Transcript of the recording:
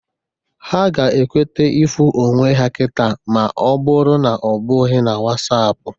Ha ga-ekwete ịfụ onwe ha kịta ma ọ bụrụ na ọ bụghị na Wasapụ